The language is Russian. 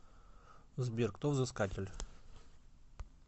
сбер кто взыскатель